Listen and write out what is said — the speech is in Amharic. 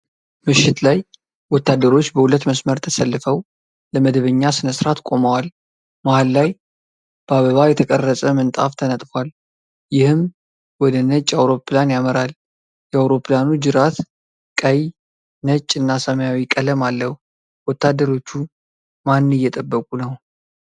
ምሽት ላይ ወታደሮች በሁለት መስመር ተሰልፈው ለመደበኛ ስነስርዓት ቆመዋል። መሀል ላይ በአበባ የተቀረጸ ምንጣፍ ተነጥፏል፤ ይህም ወደ ነጭ አውሮፕላን ያመራል። የአውሮፕላኑ ጅራት ቀይ፣ ነጭ እና ሰማያዊ ቀለም አለው። ወታደሮቹ ማን እየጠበቁ ነው?